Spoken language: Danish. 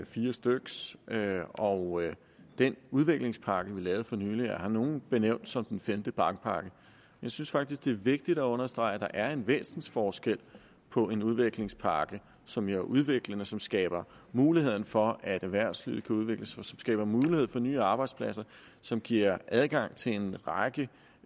fire styk og den udviklingspakke vi lavede for nylig har nogle benævnt som den femte bankpakke jeg synes faktisk at det er vigtigt at understrege at der er en væsensforskel på en udviklingspakke som jo er udviklende som skaber mulighed for at erhvervslivet kan udvikle sig som skaber mulighed for nye arbejdspladser og som giver adgang til en række